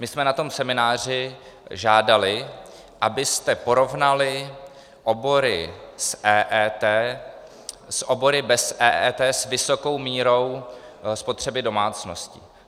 My jsme na tom semináři žádali, abyste porovnali obory s EET s obory bez EET s vysokou mírou spotřeby domácností.